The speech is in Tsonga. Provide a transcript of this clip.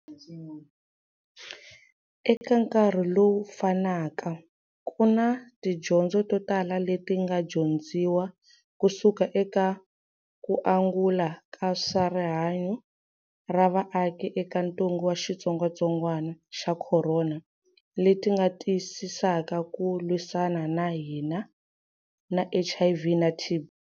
Eka nkarhi lowu fanaka, ku na tidyondzo totala leti nga dyondziwa kusuka eka kuangula ka swa rihanyu ra vaaki eka ntungu wa xitsongwatsongwana xa khorona leti nga tiyisisaka ku lwisana ka hina na HIV na TB.